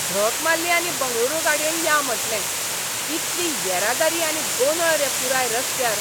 झक मारली आनी बंगळुरू गाडयेन या म्हटलें. कितली येरादारी आनी गोंदळ रे पुराय रस्त्यार.